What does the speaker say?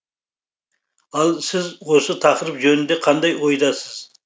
ал сіз осы тақырып жөнінде қандай ойдасыз